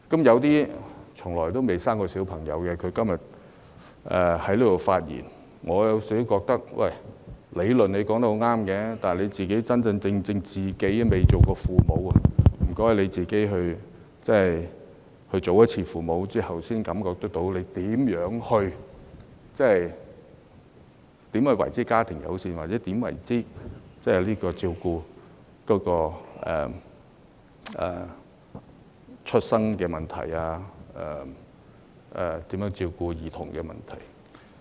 有些從來不曾生育的議員，今天在這裏發言，我認為他們的理論說得很對，但他們不曾真正當父母，可否請他們當一次父母之後，才能真正感受到何謂家庭友善、何謂照顧嬰兒出生問題和照顧兒童的問題。